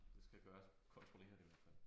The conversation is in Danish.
Det skal gøre kontrolleret i hvert fald